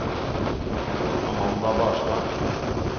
Amanda Barstad